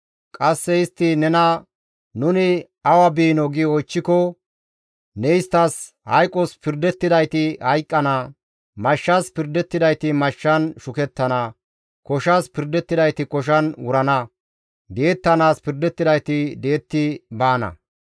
Qasse istti nena, ‹Nuni awa biinoo?› gi oychchiko, ne isttas, ‹Hayqos pirdettidayti hayqqana; mashshas pirdettidayti mashshan shukettana; koshas pirdettidayti koshan wurana; di7ettanaas pirdettidayti di7etti baana.›